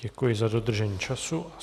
Děkuji za dodržení času.